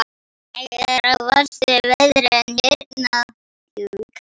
Hvernig eru verstu veðrin hérna?